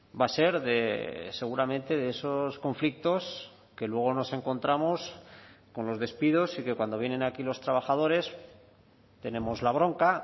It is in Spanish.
va a ser de seguramente de esos conflictos que luego nos encontramos con los despidos y que cuando vienen aquí los trabajadores tenemos la bronca